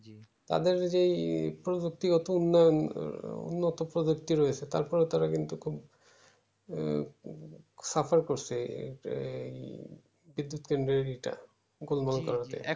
তাদের যেই প্রযুক্তি গত উন্নয়ন উন্নত প্রযুক্তি রয়েছে তারপরে তারা কিন্তু খুব suffer করছে এই বিদ্যুৎ কেন্দ্রের ইটা গোলমাল করতে